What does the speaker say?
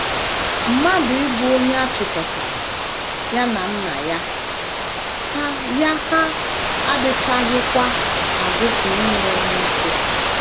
Mmadụ ‘ ịbụ onye a chịkọtara ya na nna ya hà ’ ya hà ’ adịchaghịkwa agụpụ ịnwụ ọnwụ ike.